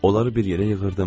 Onları bir yerə yığırdım.